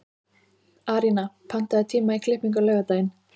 Arína, pantaðu tíma í klippingu á laugardaginn.